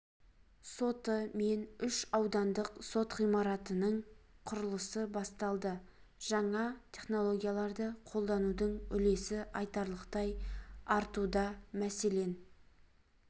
соты мен үш аудандық сот ғимаратының құрылысы басталды жаңа технологияларды қолданудың үлесі айтарлықтай артуда мәселен